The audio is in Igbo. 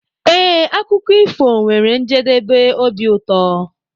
Ee, akụkọ ifo nwere njedebe obi ụtọ.